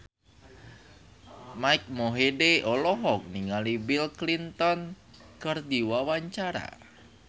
Mike Mohede olohok ningali Bill Clinton keur diwawancara